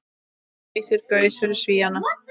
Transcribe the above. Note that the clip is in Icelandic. Geysir gaus fyrir Svíana.